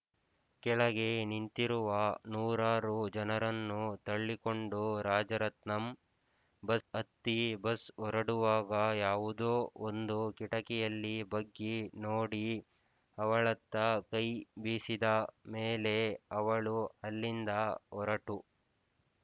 ಕೆಳಗೆ ನಿಂತಿರುವ ನೂರಾರು ಜನರನ್ನು ತಳ್ಳಿಕೊಂಡು ರಾಜರತ್ನಂ ಬಸ್ ಹತ್ತಿ ಬಸ್ ಹೊರಡುವಾಗ ಯಾವುದೋ ಒಂದು ಕಿಟಕಿಯಲ್ಲಿ ಬಗ್ಗಿ ನೋಡಿ ಅವಳತ್ತ ಕೈ ಬೀಸಿದ ಮೇಲೆ ಅವಳು ಅಲ್ಲಿಂದ ಹೊರಟು